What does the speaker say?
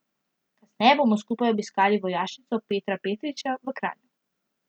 Kasneje bodo skupaj obiskali vojašnico Petra Petriča v Kranju.